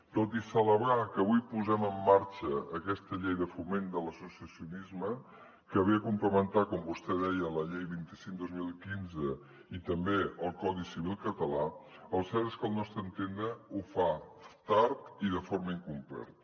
tot i celebrar que avui posem en marxa aquesta llei de foment de l’associacionisme que ve a complementar com vostè deia la llei vint cinc dos mil quinze i també el codi civil català el cert és que al nostre entendre ho fa tard i de forma incompleta